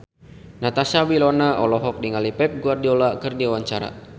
Natasha Wilona olohok ningali Pep Guardiola keur diwawancara